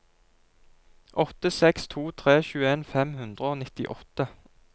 åtte seks to tre tjueen fem hundre og nittiåtte